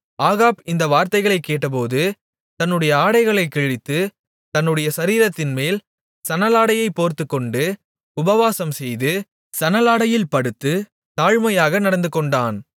Ahab இந்த வார்த்தைகளைக் கேட்டபோது தன்னுடைய ஆடைகளைக் கிழித்து தன்னுடைய சரீரத்தின்மேல் சணலாடையைப் போர்த்துக்கொண்டு உபவாசம்செய்து சணலாடையில் படுத்துத் தாழ்மையாக நடந்துகொண்டான்